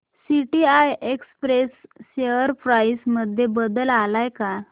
TCI express share price मध्ये बदल आलाय का